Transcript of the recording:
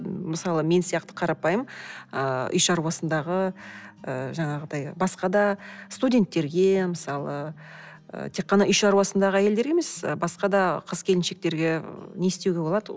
мысалы мен сияқты қарапайым ыыы үй шаруасындағы ы жаңағыдай басқа да студенттерге мысалы ы тек қана үй шаруасындағы әйелдерге емес басқада қыз келіншектерге не істеуге болады